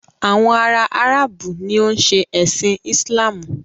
Àwọn ará Áràbù ni o ń ṣe ẹ̀sin Islamu.